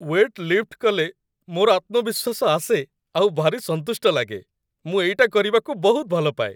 Wait lift କଲେ ମୋର ଆତ୍ମବିଶ୍ଵାସ ଆସେ ଆଉ ଭାରି ସନ୍ତୁଷ୍ଟ ଲାଗେ । ମୁଁ ଏଇଟା କରିବାକୁ ବହୁତ ଭଲପାଏ ।